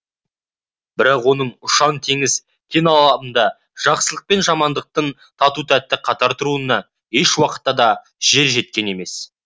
бірақ оның ұшан теңіз кең алабында жақсылық пен жамандықтың тату тәтті қатар тұруына еш уақытта да жер жеткен емес